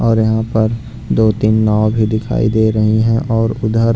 और यहाँ पर दो तीन नाव भी दिखाई दे रही हैं और उधर --